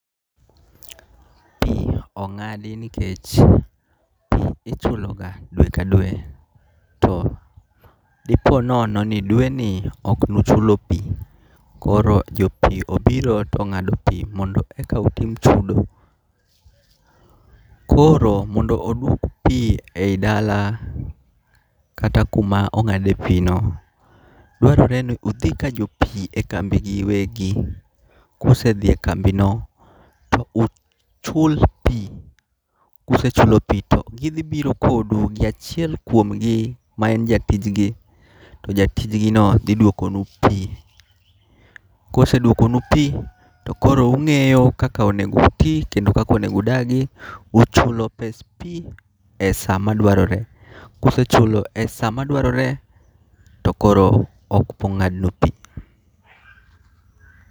Pi ong'adi nikech pi ichulo ga dwe ka dwe to di po nono ni dweni ok ne ucholo pi koro jo pi obiro to ong'ado pi mondo one ka utim chudo. Koro mondo odwok pi e dala kata e kuma ong'ad e pi no dwarore ni mondo odhi ka jo pi e kambi gi wegi ku osedhi e kambi no to uchulo pi ku osechulo pi to gi dhi biro kodu gi achiel kuom gi ma en jatij gi to jatij gi no dhi dwoko nu pi. Koosedwoko nu pi to koro ung'eyo kaka onego uti kendo kaka udagi, uchulo pesa pi e sa ma dwarore ku usechulo e sa ma dwarore to koro ok bi ng'adnu pi.